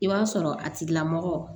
I b'a sɔrɔ a tigilamɔgɔ